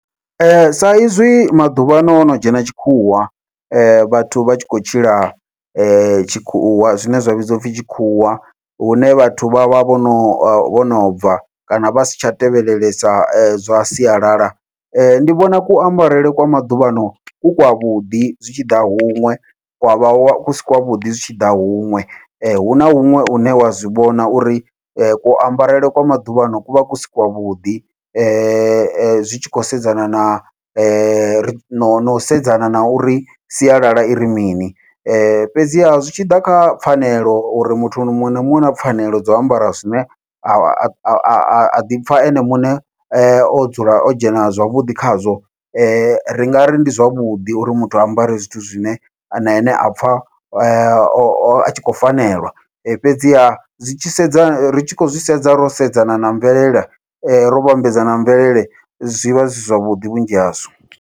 Sa izwi maḓuvha ano hono dzhena tshikhuwa vhathu vha tshi khou tshila tshikhuwa, zwine zwa vhidziwa upfhi tshikhuwa hune vhathu vha vha vhono vhono bva kana vha si tsha tevhelesa zwa sialala ndi vhona kuambarele kwa maḓuvhano ku kwa vhuḓi zwi tshi ḓa huṅwe, kwavha kusi kwa vhuḓi zwi tshi ḓa huṅwe huna huṅwe hune wa zwivhona uri kuambarele kwa maḓuvhano kuvha kusi kwa vhuḓi zwi tshi khou sedzana na no sedzana na uri sialala iri mini. Fhedziha zwi tshi ḓa kha pfhanelo uri muthu muṅwe na muṅwe u na pfhanelo dzau ambara zwine a ḓipfha ene muṋe o dzula o dzhena zwavhuḓi khazwo, ri nga ri ndi zwavhuḓi uri muthu a ambare zwithu zwine na ene a pfha o a tshi khou fanelwa, fhedziha zwi tshi sedza ri tshi khou zwi sedza ro sedzana na mvelele ro vhambedza na mvelele zwi vha zwi si zwavhuḓi vhunzhi hazwo.